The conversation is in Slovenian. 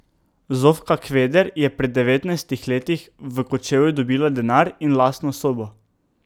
Zofka Kveder je pri devetnajstih letih v Kočevju dobila denar in lastno sobo.